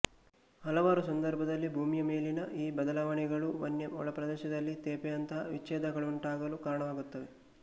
ಹಲವಾರು ಸಂದರ್ಭದಲ್ಲಿ ಭೂಮಿಯ ಮೇಲಿನ ಈ ಬದಲಾವಣೆಗಳು ವನ್ಯ ಒಳಪ್ರದೇಶದಲ್ಲಿ ತೇಪೆಯಂತಹ ವಿಚ್ಛೇದಗಳುಂಟಾಗಲು ಕಾರಣವಾಗುತ್ತವೆ